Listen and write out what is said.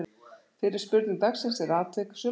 Fyrri spurning dagsins er: Atvik sumarsins?